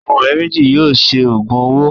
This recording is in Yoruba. Àwọn ọ̀rẹ́ méjì yóò ṣe òògùn owó